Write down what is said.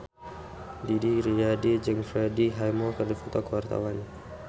Didi Riyadi jeung Freddie Highmore keur dipoto ku wartawan